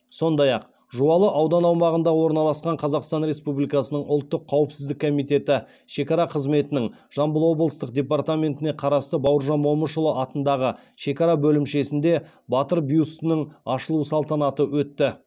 сондай ақ жуалы аудан аумағында орналасқан қазақстан рсепубликасының ұлттық қауіпсіздік комитеті шекара қызметінің жамбыл облыстық департаментіне қарасты бауыржан момышұлы атындағы шекара бөлімшесінде батыр бюстінің ашылуы салтанаты өтті